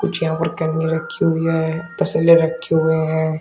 कुछ यहां पर रखी हुई है तसले रखे हुए हैं।